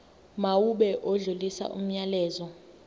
mawube odlulisa umyalezo